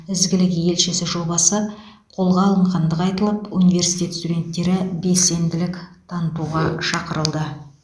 ізгілік елшісі жобасы қолға алынғандығы айтылып университет студенттері белсенділік танытуға шақырылды